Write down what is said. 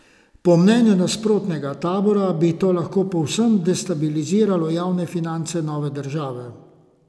Po mnenju nasprotnega tabora bi to lahko povsem destabiliziralo javne finance nove države.